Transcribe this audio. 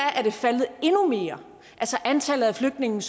er antallet af flygtninge